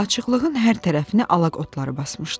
Açıqlığın hər tərəfini alaq otları basmışdı.